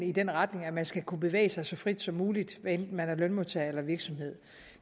i den retning at man skal kunne bevæge sig så frit som muligt hvad enten man er lønmodtager eller virksomhed